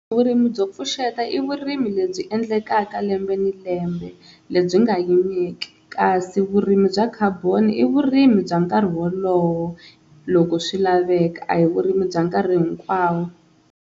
Vurimi byo pfuxeta i vurimi lebyi endlekaka lembe ni lembe lebyi nga yimeki, kasi vurimi bya khaboni i vurimi bya nkarhi wolowo loko swi laveka a hi vurimi bya nkarhi hinkwawo.